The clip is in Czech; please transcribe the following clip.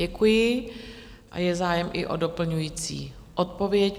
Děkuji a je zájem i o doplňující odpověď.